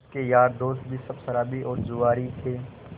उसके यार दोस्त भी सब शराबी और जुआरी थे